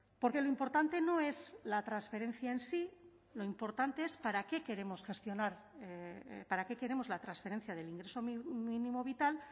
porque lo importante no es la transferencia en sí lo importante es para qué queremos gestionar para qué queremos la transferencia del ingreso mínimo vital